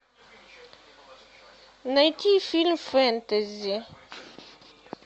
найти фильм фэнтези